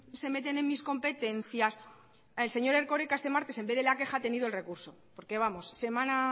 se meten en mis competencias el señor erkoreka este martes en vez de la queja ha tenido el recurso porque vamos semana